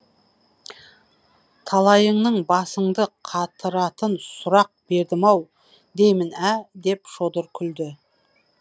талайыңның басыңды қатыратын сұрақ бердім ау деймін ә деп шодыр күлді